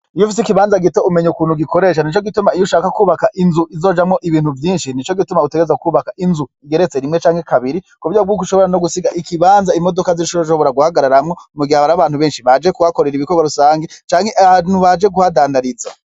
Iyufis’ikibanza gito umenya ukuntu ugikoresha Nico gituma iy’ushaka kwubaka izojamwo ibintu vyinshi Nico gituma utegerezwa kwubaka Inzu igeretse rimwe canke kabiri kuburyo bwuko ushobora gusiga ikibanza imodoka zizoshobora guhagararamwo mugihe hari abantu benshi baje kuhakorera ibikorwa rusangi canke abantu baje kuhadandariza.